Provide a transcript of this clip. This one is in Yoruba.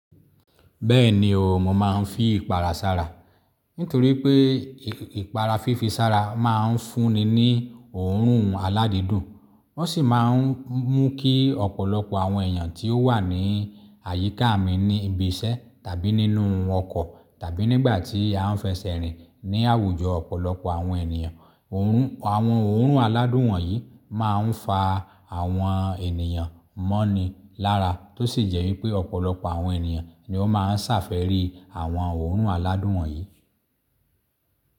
Bẹ́ẹ̀ni o, mò máa ń fi ìpara sára nítorí pé ìpara fífi sára máa ń fúnni ní òórùn aládídùn. Wọ́n sì máa ń mú kí ọ̀pọ̀lọpọ̀ àwọn èèyàn tí ó wà ní àyíká mi ní ibi iṣẹ́ tàbí nínú ọkọ̀ tàbí nígbà tí a fẹ́ sẹ́ rìn ní àwùjọ ọ̀pọ̀lọpọ̀ àwọn ènìyàn. Àwọn òórùn aládùn wọ̀nyí máa ń fa àwọn ènìyàn mọ́ni lára tó sì jẹ́ wípé ọ̀pọ̀lọpọ̀ àwọn ènìyàn ni ó máa ń ṣàfẹ́rì àwọn òórùn aládùn wọ̀nyí.